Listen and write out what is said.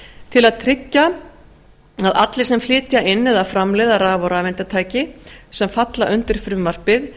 til að tryggja að allir sem flytja inn eða framleiða raf og rafeindatæki sem falla undir frumvarpið